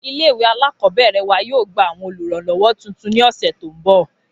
Ilé ìwé alákọ̀ọ́bẹ̀rẹ̀ wa yóò gba àwọn olùrànlọ́wọ́ tuntun ni ọ̀sẹ̀ tó ń bọ̀